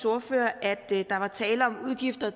ordfører at der var tale om udgifter